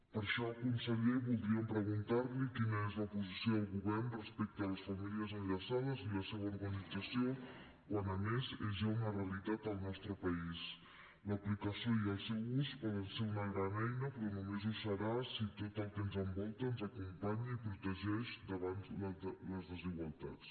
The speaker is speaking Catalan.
per això conseller voldríem preguntar li quina és la posició del govern respecte a les famílies enllaçades i la seva organització quan a més és ja una realitat al nostre país l’aplicació i el seu ús poden ser una gran eina però només ho serà si tot el que ens envolta ens acompanya i protegeix davant les desigualtats